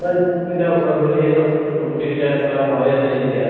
ইমান অসুবিধা, ঘৰত বহিয়ে hindi:langsab kuchhindi:lang গোটেই কেইটা কাম হৈ আছে যেতিয়া